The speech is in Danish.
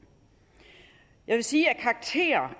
jeg vil sige